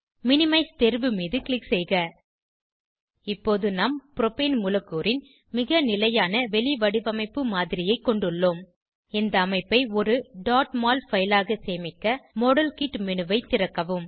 minimise தேர்வு மீது click செய்க இப்போது நாம் ப்ரோபேன் மூலக்கூறின் மிக நிலையான வெளிவடிவமைப்பு மாதிரியை கொண்டுள்ளோம் இந்த அமைப்பை ஒரு mol பைல் ஆக சேமிக்க மாடல்கிட் மேனு ஐ திறக்கவும்